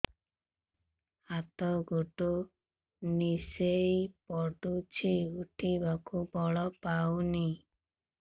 ହାତ ଗୋଡ ନିସେଇ ପଡୁଛି ଉଠିବାକୁ ବଳ ପାଉନି